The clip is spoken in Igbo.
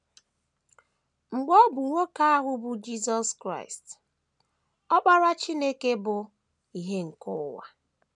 Mgbe ọ bụ nwoke ahụ bụ́ Jisọs Kraịst, Ọkpara Chineke bụ “ ìhè nke ụwa. ”